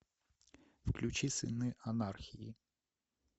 включи сыны анархии